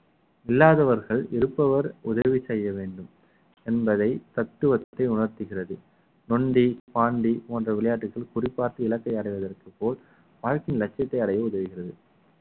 இல்லாதவர்கள் இருப்பவர் உதவி செய்ய வேண்டும் என்பதை தத்துவத்தை உணர்த்துகிறது நொண்டி பாண்டி போன்ற விளையாட்டுகள் குறி பார்த்து இலக்கை அடைவதற்கு போல் வாழ்க்கையின் லட்சியத்தை அடைய உதவுகிறது